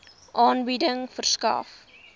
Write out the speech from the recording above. aanbieding verskaf